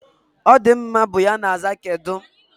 "Ọdịmma" is the reply to "kedụ?"